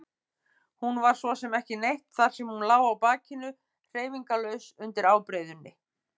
Hún var svo sem ekki neitt þar sem hún lá á bakinu hreyfingarlaus undir ábreiðunni.